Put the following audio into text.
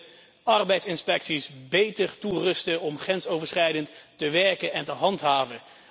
We moeten arbeidsinspecties beter toerusten om grensoverschrijdend te werken en te handhaven.